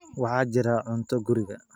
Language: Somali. Waxaa jira cunto guriga.